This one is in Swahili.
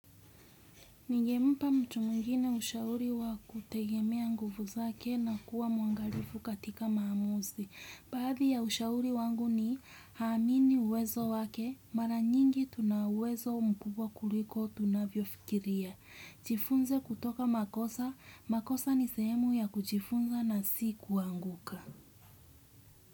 Nige mpa mtu mwingine ushauri wa kutegemea nguvu zake na kuwa muangalifu katika maamuzi. Baadhi ya ushauri wangu ni haamini uwezo wake, mara nyingi tunauwezo mpubwa kuliko tunavyo fikiria. Jifunze kutoka makosa, makosa ni sehemu ya kujifunza na si kuanguka.